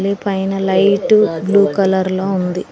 లె పైన light blue colour లో ఉంది.